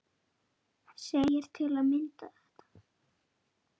segir til að mynda þetta